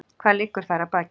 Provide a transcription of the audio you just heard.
Hvað liggur þar að baki?